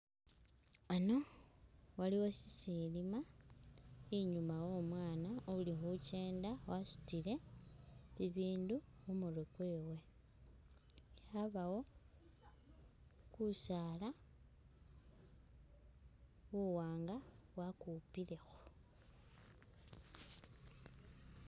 Hano aliwo sisilima inyuma wo mwana ulikhukyenda wasutile bibindu khumurwe kwewe habawo kusaala kuwanga bakupilekho.